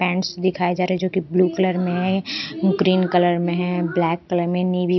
paints दिखाए जा रहे हैं जो कि ब्लू कलर में है ग्रीन कलर में है ब्लैक कलर में--